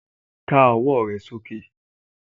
Ká ọwọ́ sókè